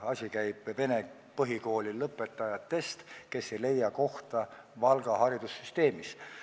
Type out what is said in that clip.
Jutt käib vene põhikooli lõpetajatest, kes ei leia kohta Valga haridussüsteemis.